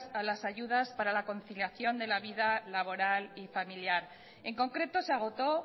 a las ayudas para la conciliación de la vida laboral y familiar en concreto se agotó